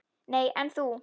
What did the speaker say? Nei, en þú?